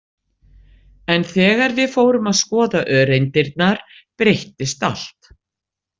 En þegar við fórum að skoða öreindirnar breyttist allt.